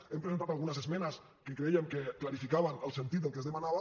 hem presentat algunes esmenes que crèiem que clarificaven el sentit del que es demanava